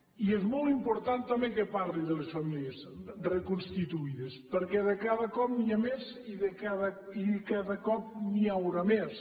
i és molt important també que parli de les famílies reconstituïdes perquè cada cop n’hi ha més i cada cop n’hi haurà més